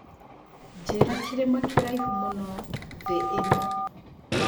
njĩira kĩrima kĩraihu mũno thĩ ĩno